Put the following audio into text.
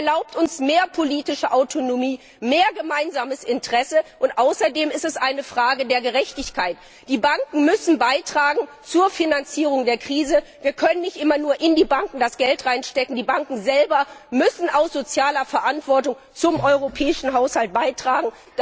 Es erlaubt uns mehr politische Autonomie, mehr gemeinsames Interesse, und außerdem ist es eine Frage der Gerechtigkeit. Die Banken müssen zur Finanzierung der Krise beitragen. Wir können nicht immer nur Geld in die Banken hineinstecken, die Banken selber müssen aus sozialer Verantwortung zum europäischen Haushalt beitragen.